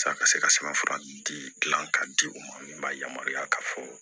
Sa ka se ka sɛbɛnfura di k'a di u ma min b'a yamaruya k'a fɔ